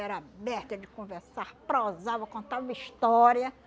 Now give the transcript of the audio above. Era aberta de conversar, prosava, contava história.